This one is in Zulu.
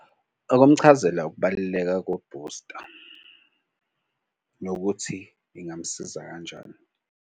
Ukumchazela ukubaluleka kobhusta nokuthi ingamsiza kanjani.